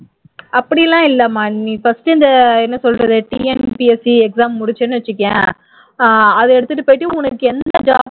அப்படி எல்லாம் இல்லமா நீ first இந்த என்ன சொல்றது TNPSC exam முடிஞ்சுதுன்னு வச்சுக்கோயேன் அஹ் அதை எடுத்துட்டு போயிட்டு உனக்கு எந்த job